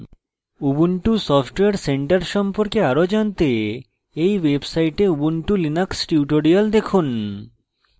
ubuntu software centre সম্পর্কে আরো জানতে এই website ubuntu linux tutorials দেখুন